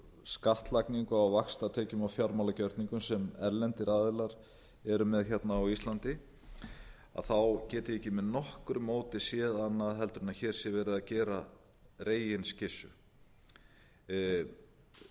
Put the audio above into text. skattlagningu á vaxtatekjum og fjármálagjörningum sem erlendir aðilar eru með hérna á íslandi að þá get ég ekki með nokkru móti séð annað en að hér sé verið að gera reginskyssu